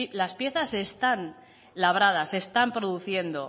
las piezas están labradas se están produciendo